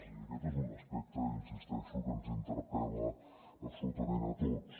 i aquest és un aspecte hi insisteixo que ens interpel·la absolutament a tots